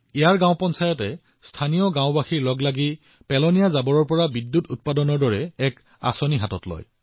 ইয়াত গ্ৰাম পঞ্চায়তে স্থানীয় লোকসকলৰ সৈতে ইয়াৰ গাওঁবোৰত আৱৰ্জনাৰ পৰা বিদ্যুৎ উৎপাদনৰ বাবে এটা স্থানীয় প্ৰকল্প স্থাপন কৰিছে